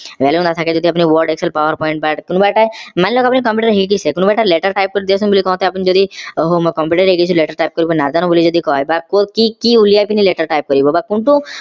value নাথাকে যদি আপোনি word excel powerpoint কোনোবা এটা মানি লওক আপোনি computer শিকিছে কোনোবা এটা letter type কৰি দিয়াচোন বুলি কওতে আপোনি যদি computer শিকিছিলো letter type কৰিব নাজানো বুলি যদি কয় বা কি কি উলাই কিনি letter type কৰিব বা কোনটো